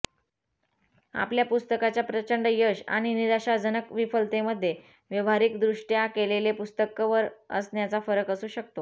आपल्या पुस्तकाच्या प्रचंड यश आणि निराशाजनक विफलतेमध्ये व्यावहारिकदृष्ट्या केलेले पुस्तक कव्हर असण्याचा फरक असू शकतो